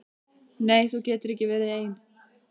Nei þú getur ekki verið ein.